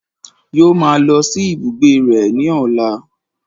Yóò máa lọ sí ibùgbé rẹ̀ ní ọ̀la